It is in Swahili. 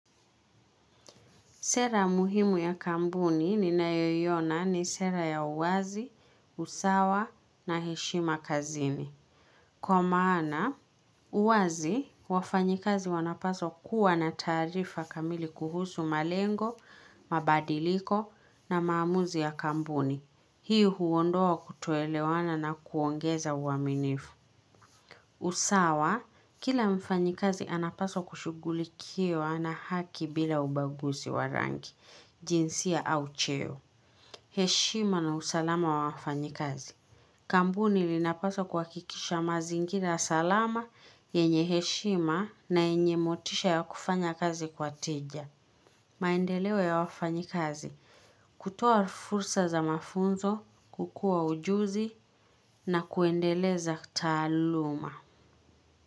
Sera muhimu ya kampuni ni nayo iona ni sera ya uwazi, usawa na heshima kazini. Kwa maana, uwazi, wafanyikazi wanapaswa kuwa na taarifa kamili kuhusu malengo, mabadiliko na maamuzi ya kampuni. Hii huondoa kutoelewana na kuongeza uaminifu. Usawa, kila mfanyikazi anapaswa kushugulikiwa na haki bila ubaguzi wa rangi. Jinsia au cheo. Heshima na usalama wa wafanyi kazi. Kampuni inapaswa kuha kikisha mazingira salama yenye heshima na yenye motisha ya kufanya kazi kwa tija. Maendeleo ya wafanyi kazi. Kutoa fursa za mafunzo kukua ujuzi na kuendeleza taaluma.